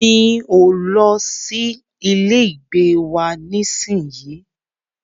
Mi o lọ sí ilé ìgbé wa nísìyí.